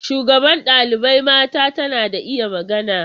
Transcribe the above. Shugaban ɗalibai mata tana da iya magana.